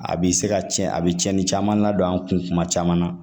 A bi se ka cɛn a bɛ cɛnni caman ladon an kun kuma caman na